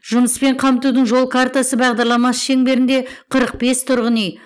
жұмыспен қамтудың жол картасы бағдарламасы шеңберінде қырық бес тұрғын үй